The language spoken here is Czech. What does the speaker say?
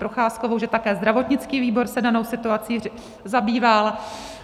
Procházkovou, že také zdravotnický výbor se danou situací zabýval.